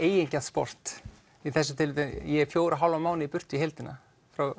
eigingjarnt sport í þessu tilfelli ég fjóra og hálfan mánuð í burtu í heildina